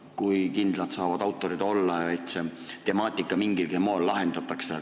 Kui kindlad saavad autorid olla, et see temaatika mingilgi moel lahenduse leiab?